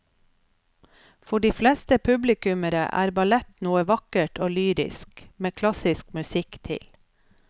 For de fleste publikummere er ballett noe vakkert og lyrisk med klassisk musikk til.